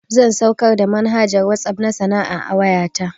Zan saukar da manhajar WhatsApp na sana'a a wayata